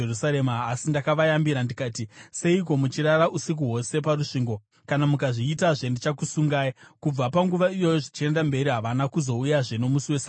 Asi ndakavayambira ndikati, “Seiko muchirara usiku hwose parusvingo? Kana mukazviitazve, ndichakusungai.” Kubva panguva iyoyo zvichienda mberi havana kuzouyazve nomusi weSabata.